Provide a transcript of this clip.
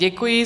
Děkuji.